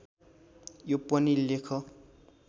यो पनि लेख